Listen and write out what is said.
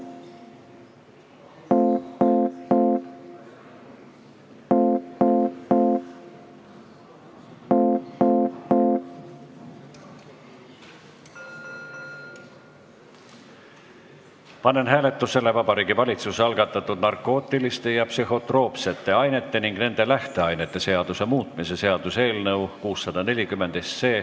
Panen hääletusele Vabariigi valitsuse algatatud narkootiliste ja psühhotroopsete ainete ning nende lähteainete seaduse muutmise seaduse eelnõu 640.